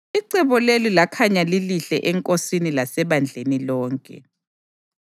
Icebo leli lakhanya lilihle enkosini lasebandleni lonke.